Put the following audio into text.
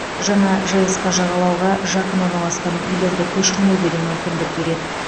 жаңа жск жағалауға жақын орналасқан үйлерді көшірмеуге де мүмкіндік береді